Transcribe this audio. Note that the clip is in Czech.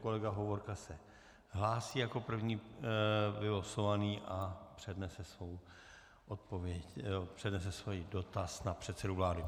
Kolega Hovorka se hlásí jako první vylosovaný a přednese svůj dotaz na předsedu vlády.